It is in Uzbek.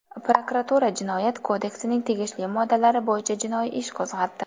Prokuratura Jinoyat kodeksining tegishli moddalari bo‘yicha jinoiy ish qo‘zg‘atdi.